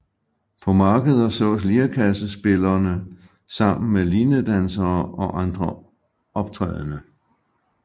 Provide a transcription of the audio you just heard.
På markeder sås lirekassespillerne sammen med linedansere og andre optrædende